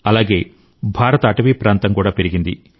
అలాగే భారత అటవీ ప్రాంతం కూడా పెరిగింది